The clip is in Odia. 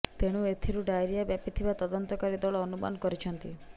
ତେଣୁ ଏଥିରୁ ଡାଇରିଆ ବ୍ୟାପିଥିବା ତଦନ୍ତକାରୀ ଦଳ ଅନୁମାନ କରିଛନ୍ତି